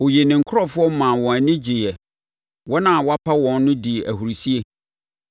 Ɔyii ne nkurɔfoɔ maa wɔn ani gyeeɛ. Wɔn a wapa wɔn no dii ahurisie;